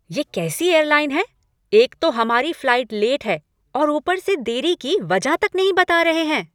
ये कैसी एयरलाइन है! एक तो हमारी फ़्लाइट लेट है और ऊपर से देरी की वजह तक नहीं बता रहे हैं।